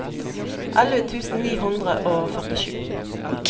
elleve tusen ni hundre og førtisju